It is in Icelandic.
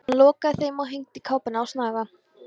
Hann lokaði þeim og hengdi kápuna á snaga.